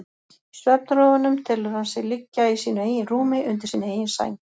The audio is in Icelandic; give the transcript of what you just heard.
Í svefnrofunum telur hann sig liggja í sínu eigin rúmi, undir sinni eigin sæng.